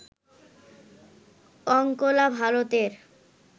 অঙ্কোলা ভারতের